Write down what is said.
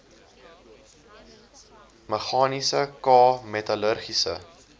meganiese k metallurgiese